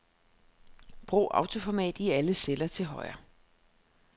Brug autoformat i alle celler til højre.